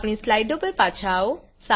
આપણી સ્લાઈડો પર પાછા આવો